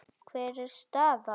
Hver er staðan á honum?